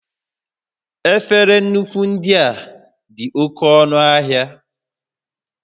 Efere nkụwa ndị a dị oke ọnụ ahịa